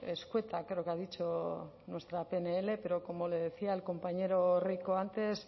escueta creo que ha dicho nuestra pnl pero como le decía al compañero rico antes